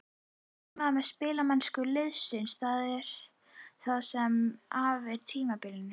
Ertu ánægð með spilamennsku liðsins það sem af er tímabilinu?